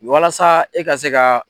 Walasa e ka se ka.